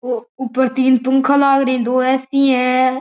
ओ ऊपर तीन पंखा लागरी है दो ए_सी है।